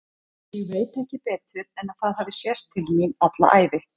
Ég veit ekki betur en að það hafi sést til mín alla ævi.